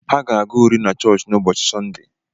Ha ga-agụ uri na chọọchị n'ụbọchị Sọnde.